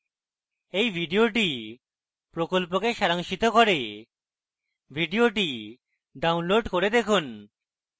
এই video প্রকল্পকে সারাংশিত করে video download করে দেখুন